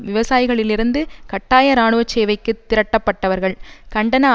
விவசாயிகளிலிருந்து கட்டாய இராணுவ சேவைக்கு திரட்டப்பட்டவர்கள் கண்டன